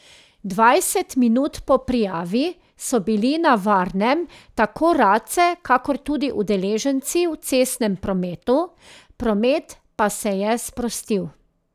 Dvajset minut po prijavi so bili na varnem tako race, kakor tudi udeleženci v cestnem prometu, promet pa se je sprostil.